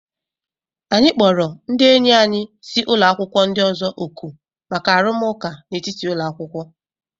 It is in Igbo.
Anyị kpọrọ ndị enyi anyị si ụlọ akwụkwọ ndị ọzọ òkù maka arụmụka n'etiti ụlọ akwụkwọ.